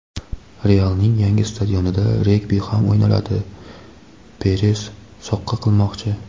"Real"ning yangi stadionida regbi ham o‘ynaladi — Peres "soqqa qilmoqchi".